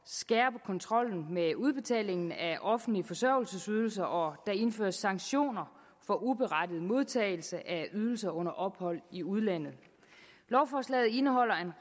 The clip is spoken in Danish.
skærpe kontrollen med udbetalingen af offentlige forsørgelsesydelser og der indføres sanktioner for uberettiget modtagelse af ydelser under ophold i udlandet lovforslaget indeholder